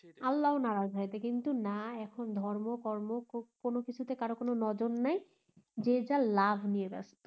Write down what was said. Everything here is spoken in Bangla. আল্লাহ নারাজ হয় কিন্তু না এখন ধর্ম কর্ম কোনো কিছুতে কারো কোনো নজর নাই যে যার ল্যাব নিয়ে ব্যাস্ত